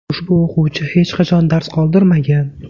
Ushbu o‘quvchi hech qachon dars qoldirmagan.